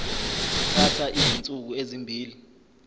kuthatha izinsuku ezimbili